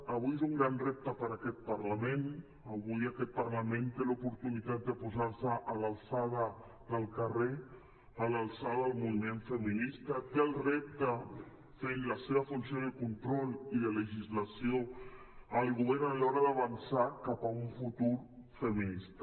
avui és un gran repte per aquest parlament avui aquest parlament té l’oportunitat de posar se a l’alçada del carrer a l’alçada del moviment feminista té el repte fent la seva funció de control i de legislació al govern a l’hora d’avançar cap a un futur feminista